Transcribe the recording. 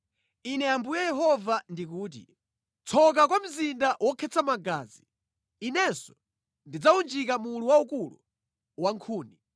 “ ‘Ine Ambuye Yehova ndikuti: “ ‘Tsoka kwa mzinda wokhetsa magazi! Inenso, ndidzawunjika mulu waukulu wa nkhuni.